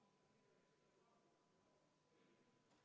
Tulemusega poolt 5, vastu 41 ja 1 erapooletu, ei leidnud ettepanek toetust.